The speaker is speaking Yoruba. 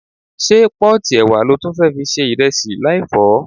Ṣé pọ́ọ̀tì ẹ̀wà lo tún fẹ́ fi se ìrẹsì láì fọ̀ ọ́?